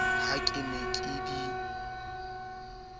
ha ke ne ke di